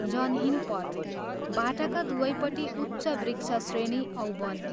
जनहीन पथ बाटाका दुवैपट्टि उच्च वृक्षश्रेणी औ वन।